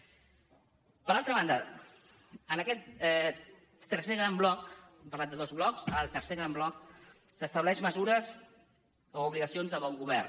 per altra banda en aquest tercer gran bloc hem parlat de dos blocs ara el tercer gran bloc s’estableixen mesures o obligacions de bon govern